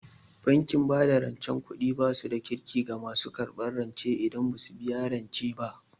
Bankin bada rancen kuɗi basu da Kirki ga masu karɓan rance idan basu biya rance ba